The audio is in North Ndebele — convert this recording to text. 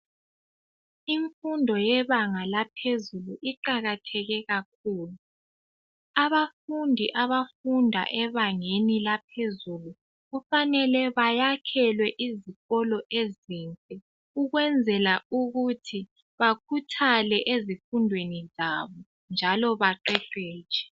imfundo yebanga laphezulu iqakatheke kakhulu abafundi abafunda ebangeni laphezulu kufanele bayakhelwe izikolo ezinhle ukwenzela ukuthi bakhuthale ezifundweni zabo njalo baqeqetshe